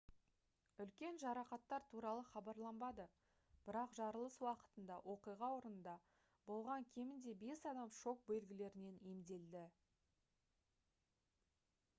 үлкен жарақаттар туралы хабарланбады бірақ жарылыс уақытында оқиға орнында болған кемінде бас адам шок белгілерінен емделді